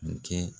kɛ